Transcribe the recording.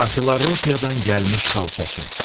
Maçilropiyadan gəlmiş xalçaçı.